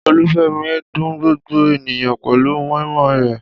Olúfẹ́mi dun gbogbo ènìyàn pẹ̀lú moi moi rẹ̀.